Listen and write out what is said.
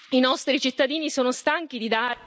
I nostri cittadini sono stanchi di...